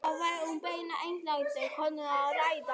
Þá væri um beina einræktun konunnar að ræða.